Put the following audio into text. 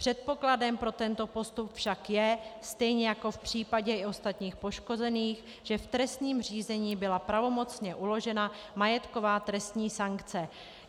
Předpokladem pro tento postup však je, stejně jako v případě i ostatních poškozených, že v trestním řízení byla pravomocně uložena majetková trestní sankce.